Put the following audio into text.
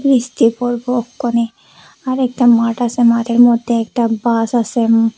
আরেকটা মাঠ আসে মাঠের মধ্যে একটা বাস আসে উম--